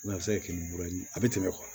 a bɛ se ka kɛ mura ye a bɛ tɛmɛ